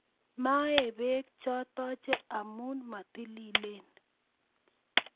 Mae beek chotocho amu matililen